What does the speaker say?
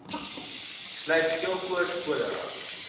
sluit geelkoors cholera